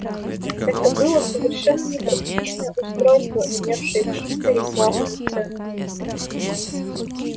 это было совершенно непрактичное устройство имевшее чисто рекламную ценность